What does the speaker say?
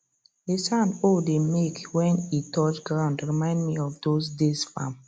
the sound hoe dey make when e touch ground remind me of those days farm